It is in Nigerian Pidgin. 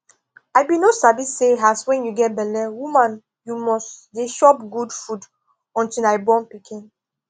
i bin no sabi say as wen you get belle woman you must dey chop good food until i born pikin